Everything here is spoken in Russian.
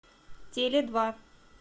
теледва